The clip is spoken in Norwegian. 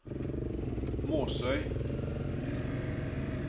Måsøy